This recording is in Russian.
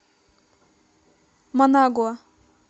манагуа